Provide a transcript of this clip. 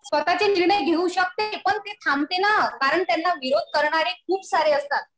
स्वतःचे निर्णय घेऊ शकते. पण ती थांबते ना. कारण तिला विरोध करणारे खूप सारे असतात.